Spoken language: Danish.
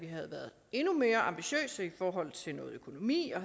havde været endnu mere ambitiøse i forhold til noget økonomi og